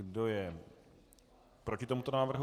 Kdo je proti tomuto návrhu?